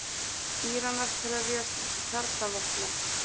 Íranar krefjast kjarnavopna